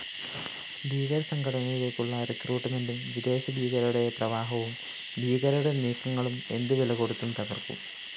ഭീകരസംഘടനയിലേക്കുള്ള റിക്രൂട്ട്‌മെന്റും വിദേശഭീകരരുടെ പ്രവാഹവുംഭീകരരുടെ നീക്കങ്ങളും എന്തു വിലകൊടുത്തും തകര്‍ക്കും